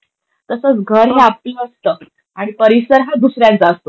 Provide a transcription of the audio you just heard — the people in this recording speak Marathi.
तसंच घर हे आपलं असतं आणि परिसर हे दुसऱ्यानचा असतो, बरोबर?